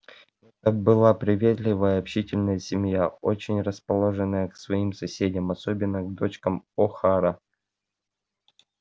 это была приветливая общительная семья очень расположенная к своим соседям и особенно к девочкам охара